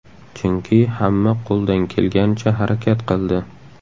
Chunki hamma qo‘ldan kelganicha harakat qildi.